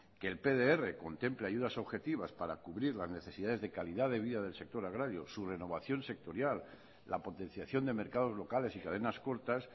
que el pdr contempla ayudas objetivas para cubrir las necesidades de calidad vida del sector agrario su renovación sectorial la potenciación de mercados locales y cadenas cortas